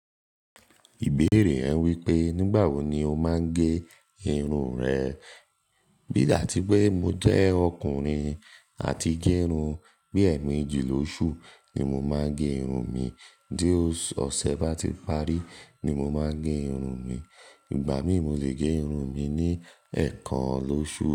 Ìbéèrè yẹn wípé nígbà wo ni o máa ń gẹ irun rẹ. Bí ìgbà tí pé mo jẹ́ ọkùnrin àti gẹ irun, bí ẹ̀emeeji lóṣù ni mo máa ń gẹ irun mi. Tí ó ọ̀sẹ̀ bá ti parí ni mo máa n gẹ irun mi. Ìgbà mí mo lè gẹ irun mi ní ẹ̀ẹ̀kan lóṣù.